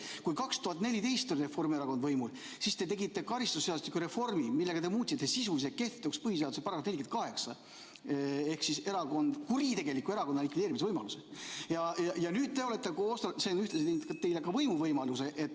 Kui 2014 oli Reformierakond võimul, tegite te karistusseadustiku reformi, millega muutsite sisuliselt kehtetuks põhiseaduse § 48 ehk kuritegeliku erakonna likvideerimise võimaluse.